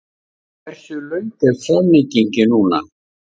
Hversu löng er framlengingin núna?